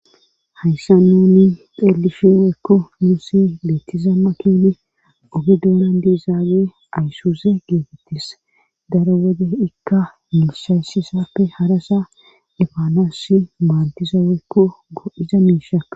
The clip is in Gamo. hayssa nuni xeelisheweekko musi leettizammakine ogi duonan diizaawe ayssuuse geetettis dara wode ikka miisayssisapfe harasa ifaanoos maaddiza weekko go7iza miisha